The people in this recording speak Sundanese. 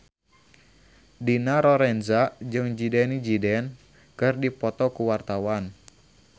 Dina Lorenza jeung Zidane Zidane keur dipoto ku wartawan